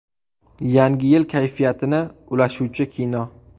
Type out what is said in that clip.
Yangi yil kayfiyatini ulashuvchi kino.